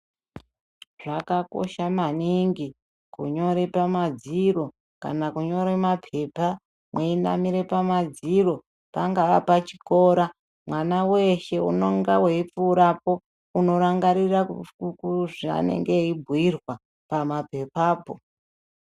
Zvakakosha maningi, kunyore pamadziro kana kunyore maphepha, mweinamire pamadziro, pangaa pachikora mwana weeshe unonga weipfuurapo unerangarira kuku zveanenga eibhuirwa, pama phephapo.